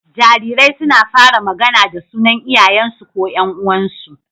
Jarirai suna fara magAna da sunan Iyayen su ko Yan uwansu